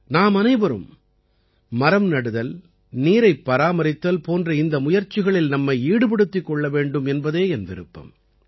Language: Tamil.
நாமனைவரும் மரம் நடுதல் நீரைப் பராமரித்தல் போன்ற இந்த முயற்சிகளில் நம்மை ஈடுபடுத்திக் கொள்ள வேண்டும் என்பதே என் விருப்பம்